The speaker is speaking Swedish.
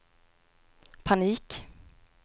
panik